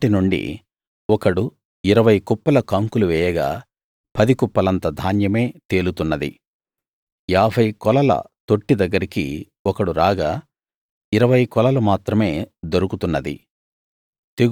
అప్పటి నుండి ఒకడు ఇరవై కుప్పల కంకులు వేయగా పది కుప్పలంత ధాన్యమే తేలుతున్నది ఏభై కొలల తొట్టి దగ్గరికి ఒకడు రాగా ఇరవై కొలలు మాత్రమే దొరకుతున్నది